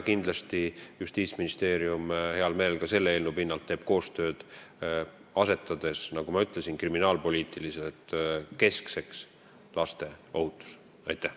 Kindlasti Justiitsministeerium teeb heal meelel ka selle eelnõu pinnalt koostööd, asetades, nagu ma ütlesin, kriminaalpoliitiliselt keskseks laste ohutuse.